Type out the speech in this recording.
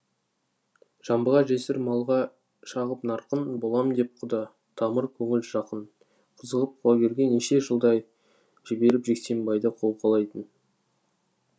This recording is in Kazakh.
жамбыға жесір малға шағып нарқын болам деп құда тамыр көңіл жақын қызығып құлагерге неше жылдай жіберіп жексенбайды қолқалайтын